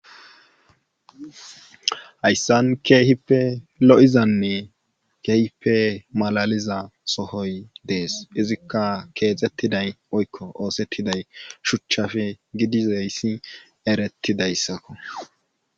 hayssan keehipe lo7izanne kehipe malaliza sohoy dees izikka keexettiday oykko oosettiday shuchchafe gidizayssi eretidayssakko